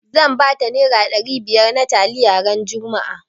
Zan bata nera ɗari biyar na taliya ran juma'a